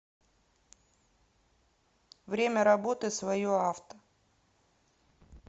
время работы свое авто